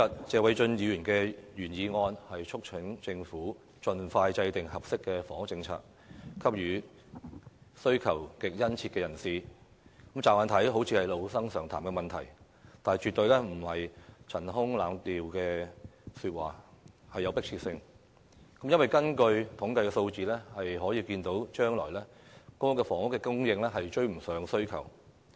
謝偉俊議員今天的原議案"促請政府盡快制訂合適房屋政策，幫助上述對住屋需求極殷切人士"，看來是老生常談，但卻絕對不是陳腔濫調，而且具有迫切性，因為從統計數字可見，將來公屋的供應量將追不上需求。